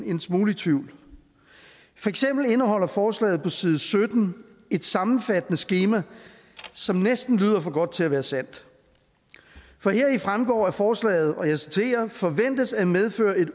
en smule i tvivl for eksempel indeholder forslaget på side sytten et sammenfattende skema som næsten lyder for godt til at være sandt for heraf fremgår at forslaget og jeg citerer forventes at medføre et